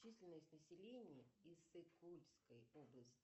численность населения иссык кульской области